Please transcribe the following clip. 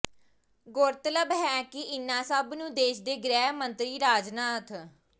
ਗੌਰਤਲਬ ਹੈ ਕਿ ਇਨ੍ਹਾਂ ਸਭ ਨੂੰ ਦੇਸ਼ ਦੇ ਗ੍ਰਹਿ ਮੰਤਰੀ ਰਾਜਨਾਥ